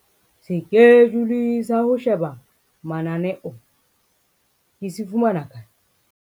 Sekejule sa ho sheba mananeo ke se fumana kae?